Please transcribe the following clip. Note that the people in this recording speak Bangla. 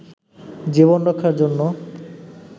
জীবন রক্ষার জন্য